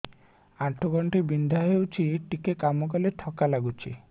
ଆଣ୍ଠୁ ଗଣ୍ଠି ବିନ୍ଧା ହେଉଛି ଟିକେ କାମ କଲେ ଥକ୍କା ଲାଗୁଚି